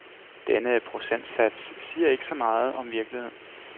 Denne procentsats siger ikke så meget om virkeligheden.